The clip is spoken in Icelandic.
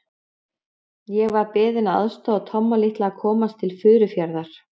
Ég var beðinn að aðstoða Tomma litla að komast til Furufjarðar.